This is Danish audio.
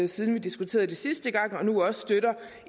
siden vi diskuterede det sidste gang og nu også støtter